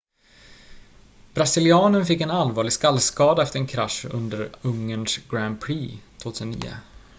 brasilianen fick en allvarlig skallskada efter en krasch under ungerns grand prix 2009